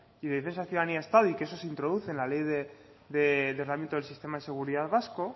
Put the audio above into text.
y defensa ciudadanía estado y que eso se introduce en la ley de ordenamiento del sistema de seguridad vasco